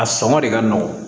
A sɔngɔ de ka nɔgɔn